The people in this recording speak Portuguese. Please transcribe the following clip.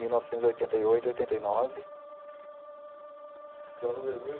mil novcentos e oitenta e oito e oitenta e nove. Que é o número mil